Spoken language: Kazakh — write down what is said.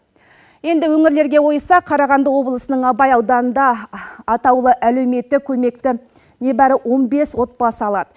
енді өңірлерге ойса қарағанды облысының абай ауданында атаулы әлеуметтік көмекті небәрі он бес отбасы алады